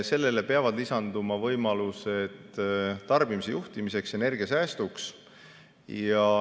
Sellele peavad lisanduma võimalused tarbimise juhtimiseks ja energiasäästuks.